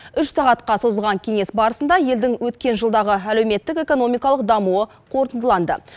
үш сағатқа созылған кеңес барысында елдің өткен жылдағы әлеуметтік экономикалық дамуы қорытындыланды